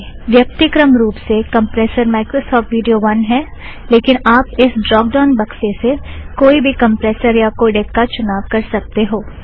व्यक्तिक्रम रुप से compressor Microsoft video one है लेकिन आप इस ड़्रोप ड़ाउन बक्से से कोई भी कम्प्रेसर या कोड़ेक का चुनाव कर सकते हो